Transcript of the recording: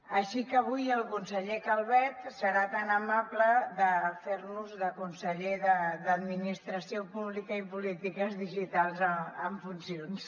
així que avui el conseller calvet serà tan amable de fer nos de conseller de polítiques digitals i administració pública en funcions